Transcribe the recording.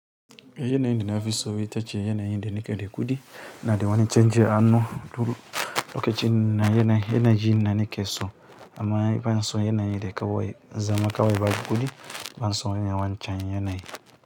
Yanayi da na fi so ita ce yanayi da nake da kuɗi ina da wani canji a hannu. Turu lokacin na yanayi na nake so amma ban so yanayi da kawai zama kawai baki kuɗi ban so wancan yanayi.